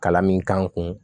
Kalan min k'an kun